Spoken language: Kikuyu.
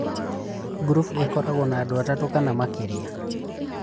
Ngurubu ĩkoragwo na andũ atatũ kana makĩria